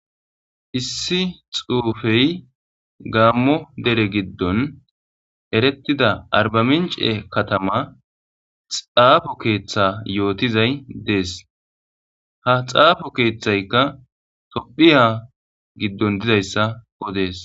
issi xuufey gaammo dere giddon erettida arbamince katama xaafo keeththe yootizay dees ha xaafo keeththaykka tophiya giddon dizayssa odees